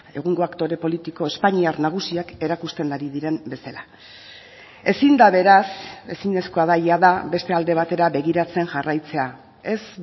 egungo aktore politiko espainiar nagusiak erakusten ari diren bezala ezin da beraz ezinezkoa da jada beste alde batera begiratzen jarraitzea ez